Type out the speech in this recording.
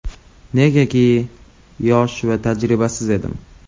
Negaki, yosh va tajribasiz edim.